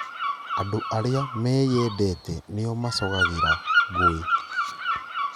Andũ arĩa meendete nĩo macogagĩra ngũĩ